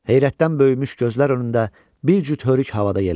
Heyrətdən böyümüş gözlər önündə bir cüt hörük havada yelləndi.